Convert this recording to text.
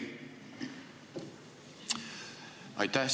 Aitäh!